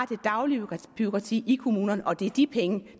det daglige bureaukrati i kommunerne og det er de penge